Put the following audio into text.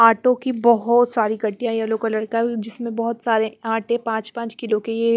आटों की बहुत सारी कट्टियां येलो कलर का जिसमें बहुत सारे आटे पांच पांच किलो की ये--